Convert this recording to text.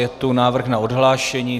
Je tu návrh na odhlášení.